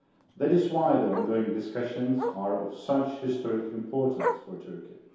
That is why the ongoing discussions are of such historic importance for Turkey.